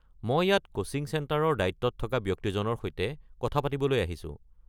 মই ইয়াত কোচিং চেণ্টাৰৰ দায়িত্বত থকা ব্যক্তিজনৰ সৈতে কথা পাতিবলৈ আহিছো।